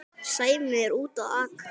Sæmi úti að aka.